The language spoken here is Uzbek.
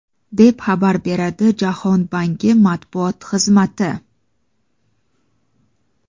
deb xabar beradi Jahon banki matbuot xizmati.